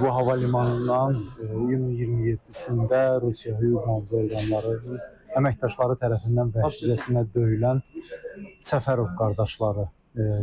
Bu hava limanından iyun 27-sində Rusiya hüquq-mühafizə orqanları əməkdaşları tərəfindən dəhşətli işgəncəyə döyülən Səfərov qardaşları